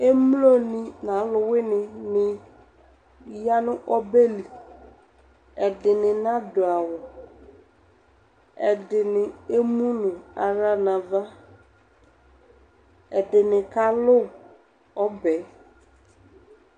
Emlonɩ nʋ alʋwɩnɩnɩ ya nʋ ɔbɛ li Ɛdɩnɩ nadʋ awʋ, ɛdɩnɩ emu nʋ aɣla nʋ ava Ɛdɩnɩ kalʋ ɔbɛ yɛ